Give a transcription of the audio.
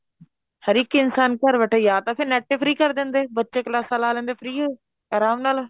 ਹਰ ਇੱਕ ਇਨਸਾਨ ਘਰ ਬੈਠਾ ਜਾਂ ਤਾਂ ਫੇਰ NET ਹੀ free ਕ਼ਰ ਦਿੰਦੇ ਬੱਚੇ ਕਲਾਸਾਂ ਲਾ ਲੈਂਦੇ free ਓ ਆਰਾਮ ਨਾਲ